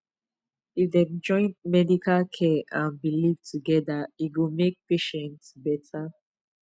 if dem join medical care and belief together e go make patient better